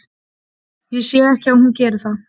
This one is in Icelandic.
Ég sé ekki að hún geri það.